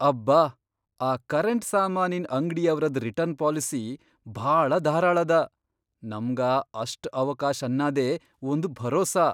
ಅಬ್ಬಾ ಆ ಕರೆಂಟ್ ಸಾಮಾನಿನ್ ಅಂಗ್ಡಿಯವ್ರದ್ ರಿಟರ್ನ್ ಪಾಲಿಸಿ ಭಾಳ ಧಾರಾಳದ, ನಮ್ಗ ಅಷ್ಟ್ ಅವಕಾಶ್ ಅನ್ನದೇ ಒಂದ್ ಭರೋಸಾ.